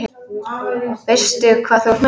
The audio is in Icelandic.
Veistu hvað þú ert með?